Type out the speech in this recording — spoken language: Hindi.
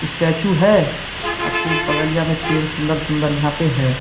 स्टेच्यू है आ खूब बगलिया में पेड़ सुन्दर- सुन्दर यहाँ पे हैं।